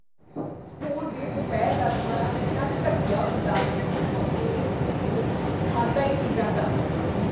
School ਦੇ ਦੁਪਹਿਰ ਦਾ ਖਾਣਾ ਇੰਨਾ ਘਟੀਆ ਹੁੰਦਾ ਹੈ ਕੀ ਮੇਰੇ ਤੋਂ ਇਹ ਖਾਧਾ ਹੀ ਨਹੀਂ ਜਾਂਦਾ।